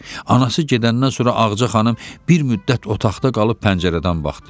Anası gedəndən sonra Ağaca xanım bir müddət otaqda qalıb pəncərədən baxdı.